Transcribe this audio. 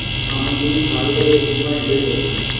আমার শুধু খাই দাই আর ঘুমাই এটাই পছন্দ